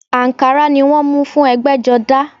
Àǹkárá ni wọ́n mú fún ẹ̀gbẹ́jọdá